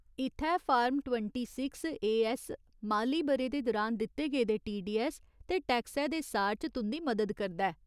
इत्थै form twenty six A S माली ब'रे दे दुरान दित्ते गेदे टीडीऐस्स ते टैक्सै दे सार च तुं'दी मदद करदा ऐ।